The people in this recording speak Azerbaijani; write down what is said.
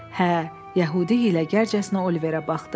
Hə, yəhudi ilə gərcəsinə Oliverə baxdı.